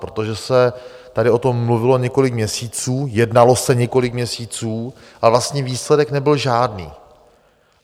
Protože se tady o tom mluvilo několik měsíců, jednalo se několik měsíců a vlastně výsledek nebyl žádný.